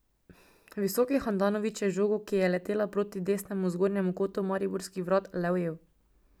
Visoki Handanović je žogo, ki je letela proti desnemu zgornjemu kotu mariborskih vrat, le ujel.